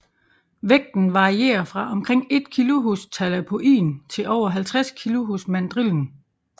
Vægten varierer fra omkring 1 kg hos talapoin til over 50 kg hos mandrillen